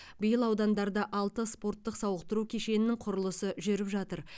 биыл аудандарда алты спорттық сауықтыру кешенінің құрылысы жүріп жатыр